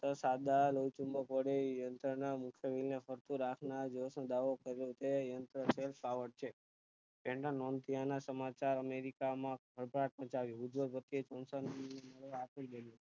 ફક્ત સાદા લોહીચૂબક વડે યંત્ર ના મુકતવયે ફરતું રાખ ના દાવો કર્યો તેવા યંત્ર છે તેના મંત્રી ઓના સમાચાર અમેરિકા માં હતા સર્જાયું ઉદવગતિ એ સાંસોધન આપી ને